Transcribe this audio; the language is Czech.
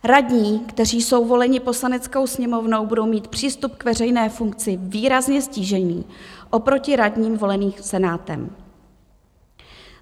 Radní, kteří jsou voleni Poslaneckou sněmovnou, budou mít přístup k veřejné funkci výrazně ztížený oproti radním voleným Senátem.